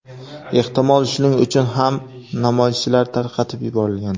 Ehtimol shuning uchun ham namoyishchilar tarqatib yuborilgan.